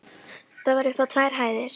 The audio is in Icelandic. Það var upp á tvær hæðir.